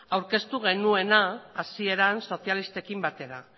aurkeztu genuena hasieran sozialistekin batera